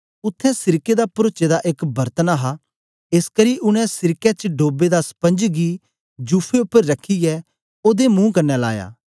उत्थें सिरके दा परोचे दा एक बरतन हा एसकरी उनै सिरके च डोबे दा स्पंज गी जुफे उपर रखियै ओदे मुं कन्ने लाया